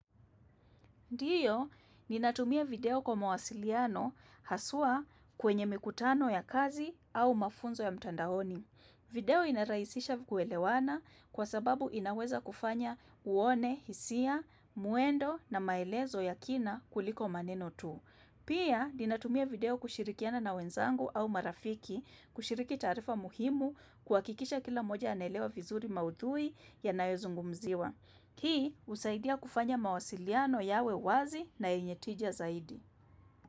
Ndiyo, ninatumia video kwa mawasiliano haswa kwenye mikutano ya kazi au mafunzo ya mtandaoni. Video inarahisisha kuelewana kwa sababu inaweza kufanya uone, hisia, muendo na maelezo ya kina kuliko maneno tu. Pia, ninatumia video kushirikiana na wenzangu au marafiki kushiriki taarifa muhimu, kuhakikisha kila mmoja anaelewa vizuri maudhui yanayozungumziwa. Hii husaidia kufanya mawasiliano yawe wazi na yenye tija zaidi.